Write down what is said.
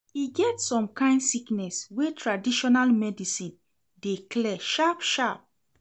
E get some kain sickness wey traditional medicine dey clear sharp-sharp.